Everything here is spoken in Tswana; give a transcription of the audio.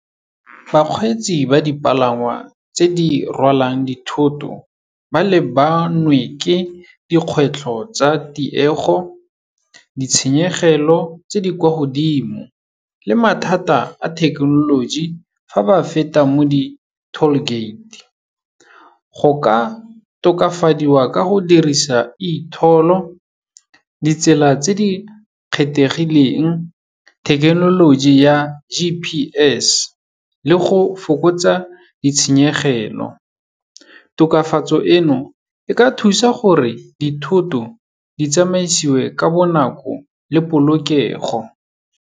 Bakgweetsi ba di palangwa tse di rwalang dithoto, ba lebanwe ke dikgwetlho tsa tiego, ditshenyegelo tse di kwa godimo le mathata a thekenoloji fa ba feta mo di-tall gate. Go ka tokafadiwa ka go dirisa e-toll-o, ditsela tse di kgethegileng, thekenoloji ya G_P_S le go fokotsa ditshenyegelo. Tokafatso eno, e ka thusa gore dithoto ditsamaisiwe ka bonako le polokego.